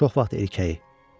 Çox vaxt erkəyi.